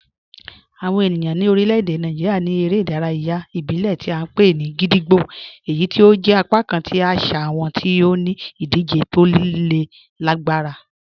Awọn ènìyàn ni orílẹ̀-èdè Nàìjíríà ní èrè idàráyà ìbílẹ̀ tí a npe ni gídígbò, èyí tí ó jẹ̀ apakàn tí àṣà wọn ti ó ní idije tó lè gbarà.